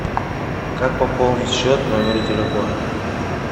как пополнить счет номера телефона